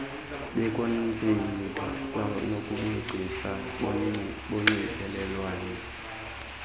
beekhompyutha kwanobugcisa bonxibelelwano